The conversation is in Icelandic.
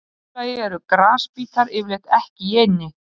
Í öðru lagi eru grasbítar yfirleitt ekki í eynni.